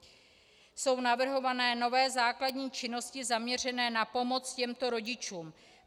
Jsou navrhované nové základní činnosti zaměřené na pomoc těmto rodičům.